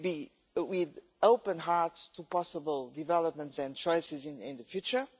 an open heart to possible developments and choices in the future.